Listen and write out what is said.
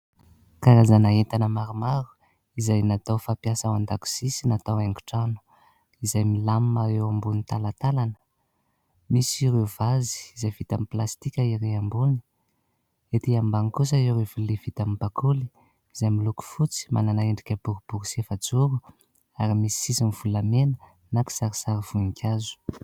Karazana entana maromaro, izay natao fampiasa ao an-dakozia sy natao haingotrano, izay milamima eo ambonin'ny talatalana misy ireo vazy, izay vita amin'ny plastika ery ambony ; ery ambany kosa ireo vilia vita amin'ny bakoly, izay miloko fotsy manana endrika boribory sy efa-joro ; ary misy sisiny volamena na kisarisary voninkazo.